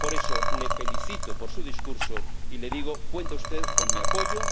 Por eso, le felicito por su discurso y le digo que cuente usted con mi apoyo